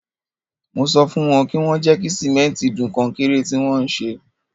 Mo sọ fún wọn kí wọ́n jẹ́ kí sìmẹ́ntì dun kọnkéré tí wọ́n ń ṣe.